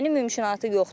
Yəni mümkünatı yoxdur.